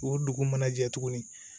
O dugu mana jɛ tuguni